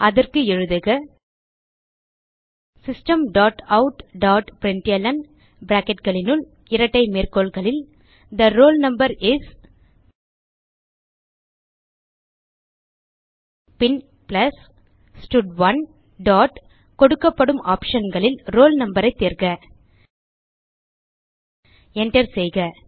அதற்கு எழுதுக system dot out dot println bracketகளுனுள் இரட்டை மேற்கோள்களில் தே ரோல் நம்பர் இஸ் பின் பிளஸ் ஸ்டட்1 டாட் கொடுக்கப்படும் optionகளில் roll noஐ தேர்க Enter செய்க